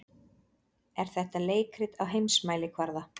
Er þetta leikrit á heimsmælikvarða?